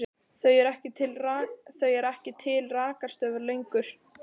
Það eru ekki til rakarastofur lengur.